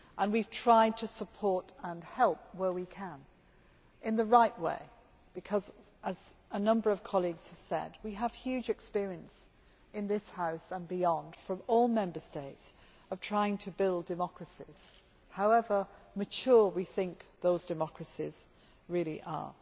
We have tried to support and help where we can, in the right way, because, as a number of colleagues have said, we have huge experience in this House and beyond, from all Member States, of trying to build democracies, however mature we think those democracies really are.